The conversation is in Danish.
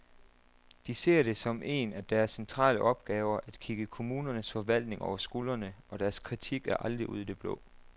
De ser det som en af deres centrale opgaver at kigge kommunernes forvaltninger over skulderen, og deres kritik er aldrig ud i det blå.